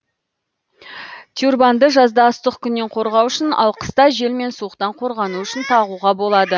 тюрбанды жазда ыстық күннен қорғану үшін ал қыста жел мен суықтан қорғану үшін тағуға болады